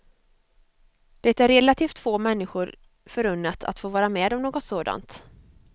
Det är relativt få människor förunnat att få vara med om något sådant.